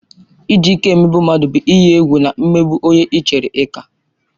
Iji ike emegbu mmadụ bụ ịyi egwu na imegbu onye ị chere na ị ka.